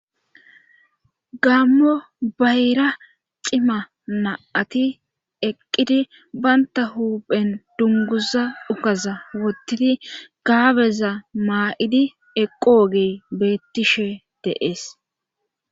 gammo bayra cima na7ati eqqidi baynta huuphen dunguza ukaza wottidi gaabeza maa7idi eqoogey beettishe de'ees